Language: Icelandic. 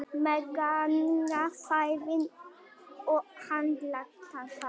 Meðganga, fæðing og handtaka